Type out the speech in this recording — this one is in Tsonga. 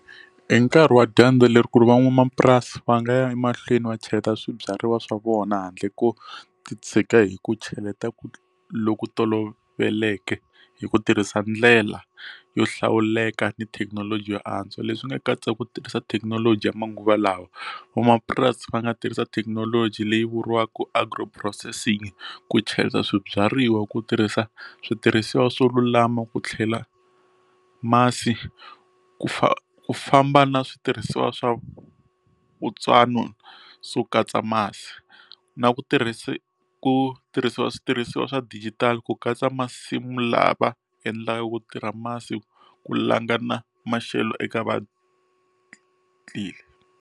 I nkarhi wa dyandza leri ku ri van'wamapurasi va nga ya emahlweni va cheleta swibyariwa swa vona handle ko ti tshika hi ku cheleta ku loku toloveleke hi ku tirhisa ndlela yo hlawuleka ni thekinoloji yo antswa leswi nga katsa ku tirhisa thekinoloji ya manguva lawa vamapurasi va nga tirhisa thekinoloji leyi vuriwaka agri processing ku cheleta swibyariwa ku tirhisa switirhisiwa swo lulama ku tlhela masi ku fa ku famba na switirhisiwa swa no swo katsa masi na ku tirhisa ku tirhisiwa switirhisiwa swa dijitali ku katsa masimu lava endlaka ku tirha masi ku langutana maxelo eka .